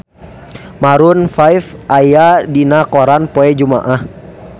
Maroon 5 aya dina koran poe Jumaah